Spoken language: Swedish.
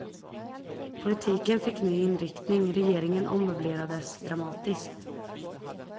Politiken fick ny inriktning, regeringen ommöblerades dramatiskt.